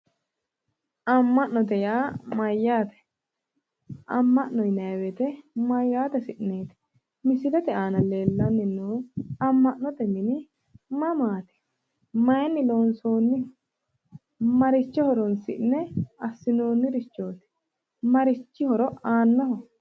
Amma'note yaa mayyaate? amma'note yineemmohu mayyaate hasi'neeti? Amma'note mini mamaati? Mayinni loonsoonniho maricho horonsi'ne assi'noonnirichooti? Marichi horo aannoho?